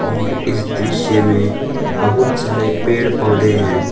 और इस दृश्य में बहुत सारे पेड़ पौधे हैं।